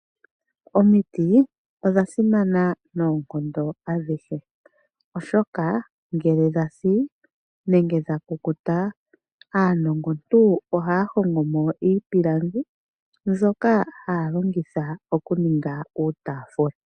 Omiti odha simana noonkondo adhihe, oshoka ngele dha si nenge dha kukuta aanongontu ohaya hongo mo iipilangi mbyoka haya longitha okuninga uutaafula.